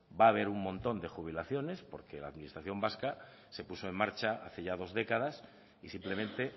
va a haber un montón de jubilaciones porque la administración vasca se puso en marcha hace ya dos décadas y simplemente